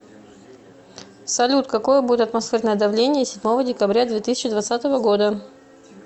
салют какое будет атмосферное давление седьмого декабря две тысячи двадцатого года